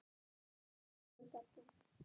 Ótti vegur þar þungt.